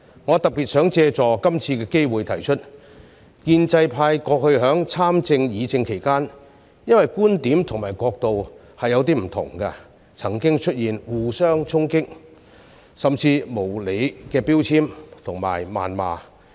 我特別想借助這次機會指出，建制派過去在參政和議政期間，因為觀點和角度不同，曾經出現互相攻擊，甚至無理的標籤和謾罵。